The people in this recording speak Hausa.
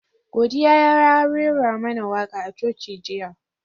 Godiya ya rera mana waka a Coci jiya.